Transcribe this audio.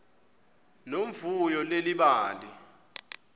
nomvuyo leli bali